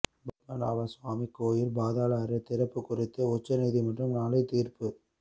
பத்மநாப சுவாமி கோவில் பாதாள அறை திறப்பு குறித்து உச்சநீதிமன்றம் நாளை தீர்ப்பு